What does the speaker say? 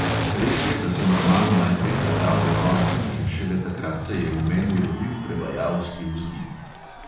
Res je, da sem roman najprej prebral do konca in šele takrat se je v meni rodil prevajalski vzgib.